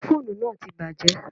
Ófúnù náà ti bàjẹ́.